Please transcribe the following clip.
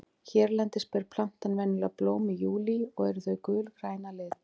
hérlendis ber plantan venjulega blóm í júlí og eru þau gulgræn að lit